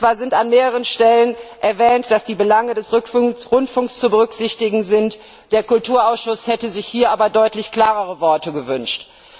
Zwar wird an mehreren Stellen erwähnt, dass die Belange des Rundfunks zu berücksichtigen sind, der Kulturausschuss hätte sich hier aber deutlich klarere Worte gewünscht.